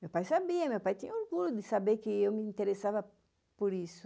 Meu pai sabia, meu pai tinha orgulho de saber que eu me interessava por isso.